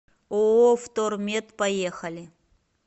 ооо втормет поехали